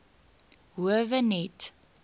howe net